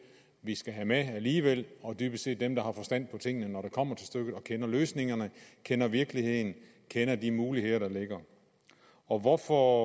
vi skal have med alligevel og dybest set dem der har forstand på tingene når det kommer til stykket og kender løsningerne kender virkeligheden og kender de muligheder der ligger og hvorfor